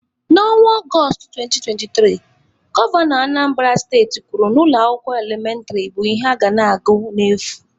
Na Ọnwa Ọgọstụ 2023, Gọvanọ Anambara steti kwuru na ụlọ akwụkwọ elementịrị bụ ihe a ga na-agụ n'efu.